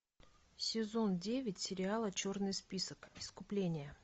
сезон девять сериала черный список искупление